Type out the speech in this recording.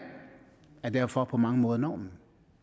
er derfor på mange måder normen